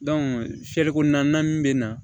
fiyɛli kɔni na min bɛ na